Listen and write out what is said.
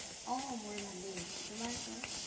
অ মোৰ ভালেই, তোমাৰ কোৱা